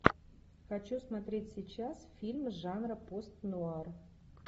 хочу смотреть сейчас фильм жанра пост нуар